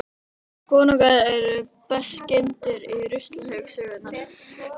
Konungar eru best geymdir á ruslahaug sögunnar.